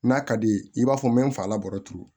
N'a ka di ye i b'a fɔ n bɛ n fa la baro turu